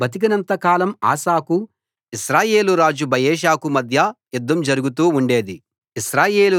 వారు బతికినంత కాలం ఆసాకూ ఇశ్రాయేలు రాజు బయెషాకూ మధ్య యుద్ధం జరుగుతూ ఉండేది